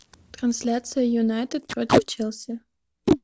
трансляция юнайтед против челси